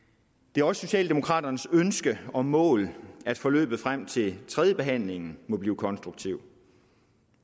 det er også socialdemokraternes ønske og mål at forløbet frem til tredjebehandlingen må blive konstruktivt